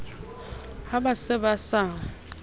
ha ba se ba sa